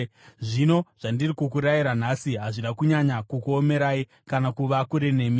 Zvino zvandiri kukurayirai nhasi hazvina kunyanya kukuomerai kana kuva kure nemi.